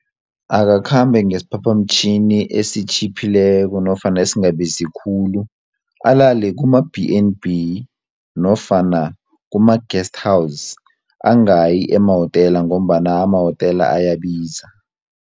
Akakhambe ngesiphaphamtjhini esitjhiphileko nofana esingabizi khulu, alale kuma B and B nofana kuma guesthouse angayi emawotela ngombana amawotela ayabiza.